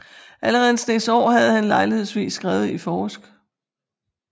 Allerede en Snes Aar havde han lejlighedsvis skrevet i forsk